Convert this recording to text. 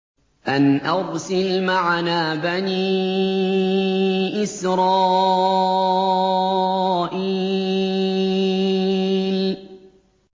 أَنْ أَرْسِلْ مَعَنَا بَنِي إِسْرَائِيلَ